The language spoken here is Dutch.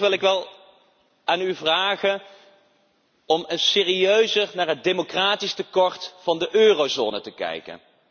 Maar toch wil ik wel aan u vragen om eens serieuzer naar het democratisch tekort van de eurozone te kijken.